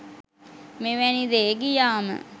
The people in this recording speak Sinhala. මෙවැනි දේ ගියාම